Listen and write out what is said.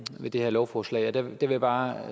ved det her lovforslag der vil jeg bare